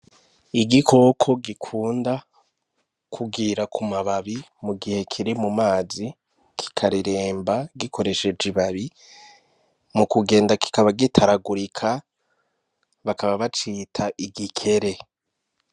Igikoko gukunda kugira ku mababi mu gihe kuri mu mazi. Mukugenda kiratatagurika, bakaba bacita igikere.